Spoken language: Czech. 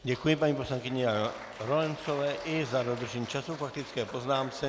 Děkuji paní poslankyni Lorencové i za dodržení času k faktické poznámce.